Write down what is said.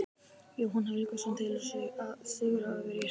Jóhann Helgason telur að sigurinn hafi verið sanngjarn.